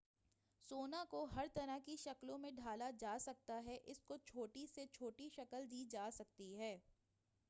سونا کو ہر طرح کی شکلوں میں ڈھالا جاسکتا ہے اس کو چھوٹی سے چھوٹی شکل دی جاسکتی ہے